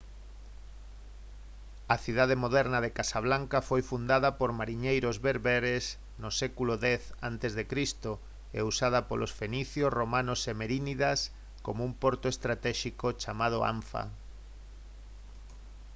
a cidade moderna de casablanca foi fundada por mariñeiros bérberes no século x a c e usada polos fenicios romanos e merínidas como un porto estratéxico chamado anfa